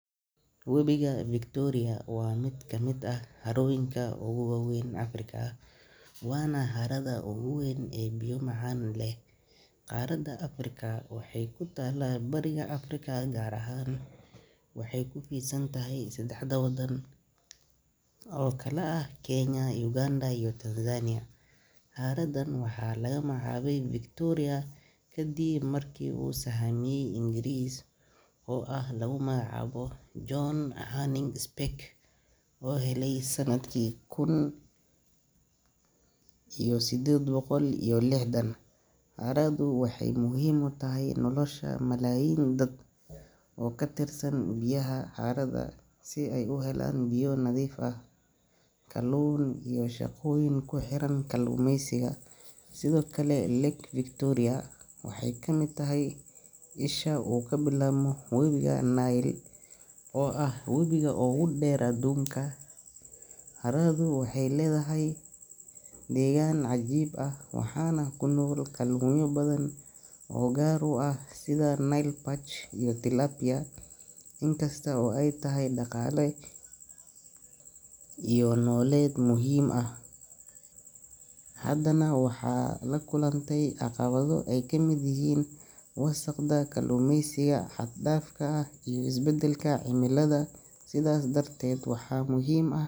Webiga Victoria waa mid kamid ah harooyinka ugu waaweyn Afrika, waana harada ugu weyn ee biyo macaan leh ee qaaradda Afrika. Waxay ku taallaa bariga Afrika, gaar ahaan waxay ku fidsan tahay saddex waddan oo kala ah Kenya, Uganda iyo Tanzania. Haradan waxaa lagu magacaabay Victoria kadib markii uu sahamiye Ingiriis ah oo lagu magacaabo John Hanning Speke uu helay sanadkii kun iyo siddeed boqol iyo lixdan. Haradu waxay muhiim u tahay nolosha malaayiin dad ah oo ku tiirsan biyaha harada si ay u helaan biyo nadiif ah, kalluun, iyo shaqooyin ku xiran kalluumaysiga. Sidoo kale, Lake Victoria waxay ka mid tahay isha uu ka bilaabmo webiga Nile, oo ah webiga ugu dheer adduunka. Haradu waxay leedahay deegaan cajiib ah, waxaana ku nool kalluunyo badan oo gaar u ah sida Nile perch iyo Tilapia. Inkasta oo ay tahay ilo dhaqaale iyo nololeed muhiim ah, haddana waxaa la kulantay caqabado ay kamid yihiin wasakhda, kalluumaysiga xad-dhaafka ah iyo isbedelka cimilada. Sidaas darteed, waxaa muhiim ah.